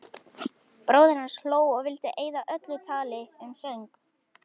Bróðir hans hló og vildi eyða öllu tali um söng.